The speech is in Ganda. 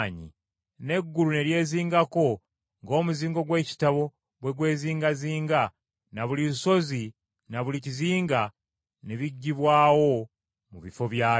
n’eggulu ne lyezingako ng’omuzingo gw’ekitabo bwe gwezingazinga na buli lusozi na buli kizinga ne biggibwawo mu bifo byabyo.